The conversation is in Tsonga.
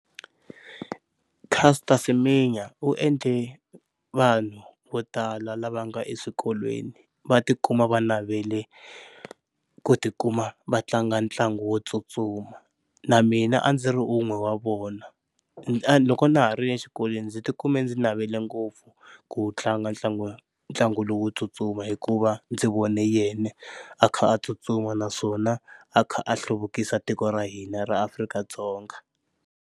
Caster Semenya u endle vanhu vo tala lava nga eswikolweni va tikuma va navele ku tikuma va tlanga ntlangu wo tsutsuma, na mina a ndzi ri un'we wa vona. Loko na ha ri exikolweni ndzi tikume ndzi navele ngopfu ku tlanga ntlangu ntlangu lowo tsutsuma hikuva ndzi vone yena a kha a tsutsuma naswona a kha a hluvukisa tiko ra hina ra Afrika-Dzonga.